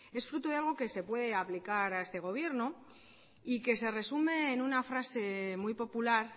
es fruto de algo que se puede aplicar a este gobierno y que se resume en una frase muy popular